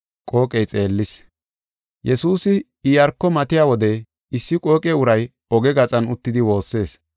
Yesuusi Iyaarko matiya wode issi qooqe uray oge gaxan uttidi woossees.